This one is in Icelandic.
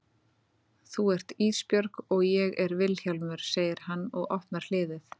Þú ert Ísbjörg og ég er Vilhjálmur, segir hann og opnar hliðið.